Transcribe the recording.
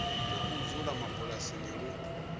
na u dzula mabulasini lu